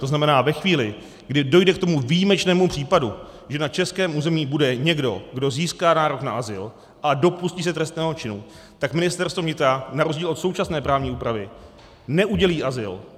To znamená, ve chvíli, kdy dojde k tomu výjimečnému případu, že na českém území bude někdo, kdo získá nárok na azyl a dopustí se trestného činu, tak Ministerstvo vnitra na rozdíl od současné právní úpravy neudělí azyl.